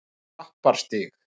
Klapparstíg